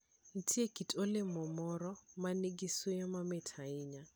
Nitie kit olemo moro ma nigi suya mamit ahinya.